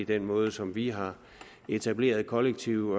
den måde som vi har etableret kollektiv